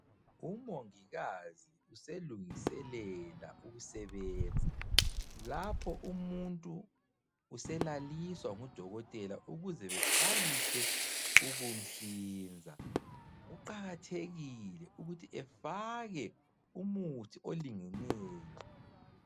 Umongikazi uselungiselela ukusebenza, lapho umuntu uselaliswa ngu Dokotela ukuze beqalise ukum'hlinza, kuqakathekile ukuthi afake umuthi olingeneyo